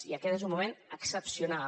i aquest és un moment excepcional